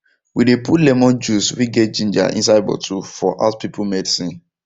we dey put lemon juice wey get ginger inside bottle for house people medicine